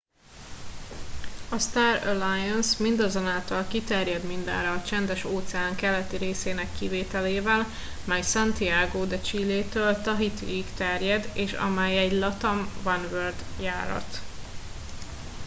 a star alliance mindazonáltal kiterjed mindenre a csendes óceán keleti részének kivételével mely santiago de chilétől tahitiig terjed és amely egy latam oneworld járat